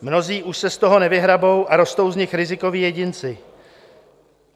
Mnozí už se z toho nevyhrabou a rostou z nich rizikoví jedinci.